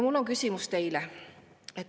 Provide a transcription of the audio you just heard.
Mul on teile küsimus.